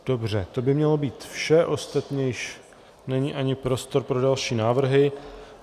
Dobře, to by mělo být vše, ostatně již není ani prostor pro další návrhy.